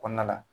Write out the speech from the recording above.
Kɔnɔna la